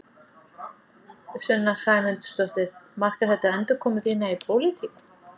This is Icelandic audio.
Sunna Sæmundsdóttir: Markar þetta endurkomu þína í pólitík?